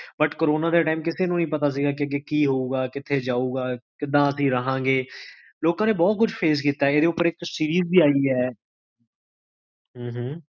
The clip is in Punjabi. but, corona ਦੇ time ਕਿਸੇ ਨੂੰ ਨੀ ਪਤਾ ਸੀਗਾ, ਕੀ ਹੋਊਗਾ, ਕਿਥੇ ਜਾਉਗਾ, ਕਿਦਾਂ ਅਸੀ ਰਹਾਂਗੇ ਲੋਕਾਂ ਨੇ ਬੋਹੋਤ ਕੁਝ face ਕੀਤਾ ਏਦੇ ਉਪਰ ਇਕ series ਵੀ ਆਈ ਹੈ